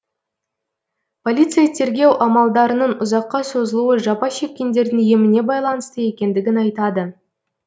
полиция тергеу амалдарының ұзаққа созылуы жапа шеккендердің еміне байланысты екендігін айтады